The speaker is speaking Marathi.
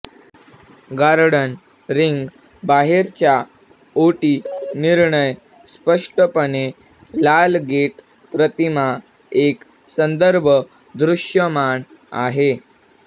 गार्डन रिंग बाहेरच्या ओटी निर्णय स्पष्टपणे लाल गेट प्रतिमा एक संदर्भ दृश्यमान आहे